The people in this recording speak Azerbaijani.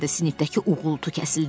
Sinifdəki uğultu kəsildi.